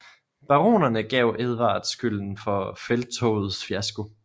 Baronerne gav Edvard skylden for felttogets fiasko